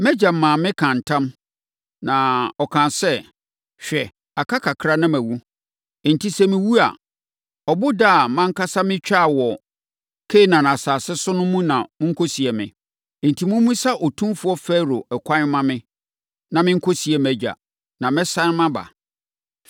‘Mʼagya maa mekaa ntam,’ na ɔkaa sɛ: Hwɛ, aka kakra na mawu. Enti, sɛ mewu a, ɔboda a mʼankasa metwaa wɔ Kanaan asase so no mu na monkɔsie me. ‘Enti, mommisa otumfoɔ Farao ɛkwan mma me na menkɔsie mʼagya, na mɛsane maba.’ ”